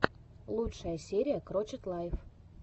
лучшая серия крочет лайф